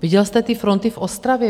Viděl jste ty fronty v Ostravě?